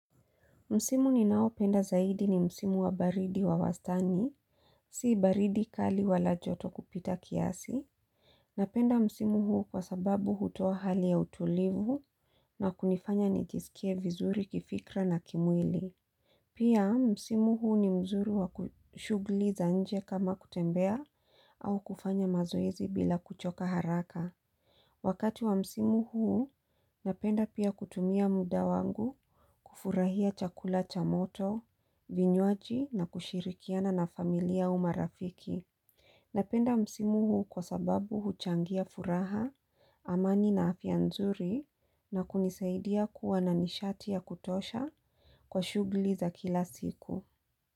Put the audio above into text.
Msimu ninaopenda zaidi ni msimu wa baridi wa wastani, si baridi kali wala joto kupita kiasi. Napenda msimu huu kwa sababu hutoa hali ya utulivu na kunifanya nijisikie vizuri kifikra na kimwili. Pia msimu huu ni mzuri wa ku shughuli za nje kama kutembea au kufanya mazoezi bila kuchoka haraka. Wakati wa msimu huu, napenda pia kutumia muda wangu kufurahia chakula cha moto, vinywaji na kushirikiana na familia au marafiki. Napenda msimu huu kwa sababu huchangia furaha, amani na afya nzuri na kunisaidia kuwa na nishati ya kutosha kwa shughuli za kila siku.